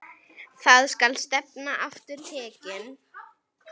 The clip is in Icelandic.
Þangað skal stefnan aftur tekin.